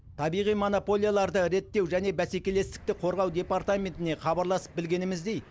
табиғи монополияларды реттеу және бәсекелестікті қорғау департаментіне хабарласып білгеніміздей